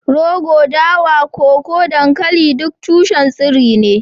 rogo, dawa, koko, dankali duk tushen tsiro ne